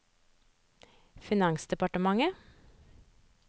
finansdepartementet